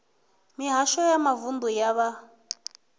mihasho ya mavunḓu ya vha